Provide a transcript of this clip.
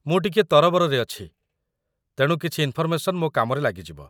ମୁଁ ଟିକେ ତରବରରେ ଅଛି, ତେଣୁ କିଛି ଇନ୍‌ଫର୍‌ମେସନ୍ ମୋ କାମରେ ଲାଗିଯିବ ।